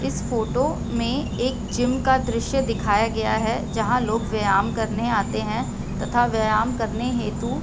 इस फोटो में एक जिम का दृश्य दिखाया गया है जहाँ लोग व्यायाम करने आते हैं तथा व्यायाम करने हेतु --